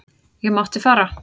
Ég mátti fara.